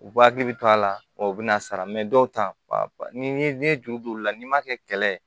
U b'u hakili to a la u bɛ na sara dɔw ta ni n'i ye juru don u la n'i ma kɛ kɛlɛ ye